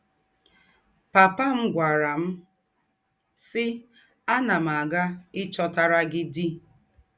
” Pàpà m gwàrà m, sì: “ Ánà m ága íchòtàrà gị dì. ”